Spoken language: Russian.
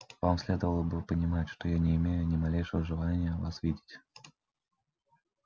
вам следовало бы понимать что я не имею ни малейшего желания вас видеть